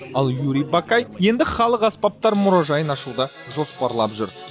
ал юрий бакай енді аспаптар мұражайын ашуды жоспарлап жүр